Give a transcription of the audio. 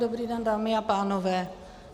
Dobrý den, dámy a pánové.